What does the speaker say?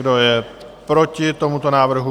Kdo je proti tomuto návrhu?